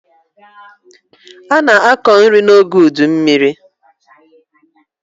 A na-akọ nri n'oge udummiri.